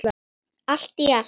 Allt í allt.